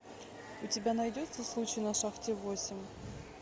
у тебя найдется случай на шахте восемь